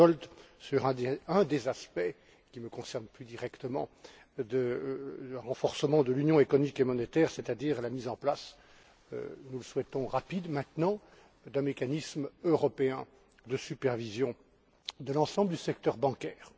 Giegold, sur un des aspects qui nous concernent plus directement le renforcement de l'union économique et monétaire, c'est à dire la mise en place que nous souhaitons rapide maintenant d'un mécanisme européen de supervision de l'ensemble du secteur bancaire.